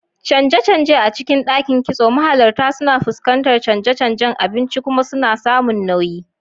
Canje-canje a cikin Dakin Kitso: Mahalarta suna fuskantar canje-canjen abinci kuma suna samun nauyi.